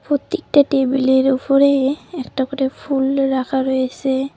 প্রত্যেকটা টেবিলের উফরে একটা করে ফুল রাখা রয়েসে।